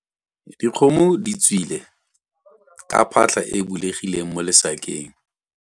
Dikgomo di tswile ka phatlha e e bulegileng mo lesakeng.